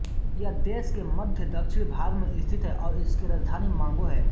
यह देश के मध्यदक्षिण भाग में स्थित है और इसकी राजधानी मोंगो है